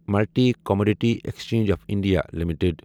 multi commodity exchange of India limited